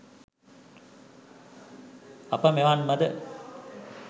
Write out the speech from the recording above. අප මෙවන් ව ද